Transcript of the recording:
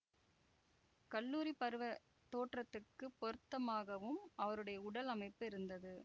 கல்லூரி பருவத் தோற்றத்துக்கு பொருந்ததாகவும் அவருடைய உடல் அமைப்பு இருந்தது